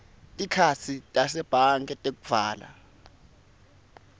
tikhatsi tasebhange tekuvala